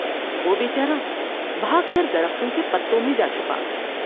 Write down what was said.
وہ بے چارہ بھاگ کر درختوں کے پتوں میں جا چھپا ۔